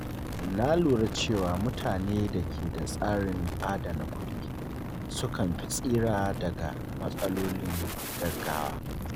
Na lura cewa mutane da ke da tsarin adana kuɗi sukan fi tsira daga matsalolin gaggawa.